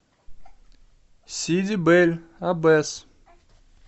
сиди бель аббес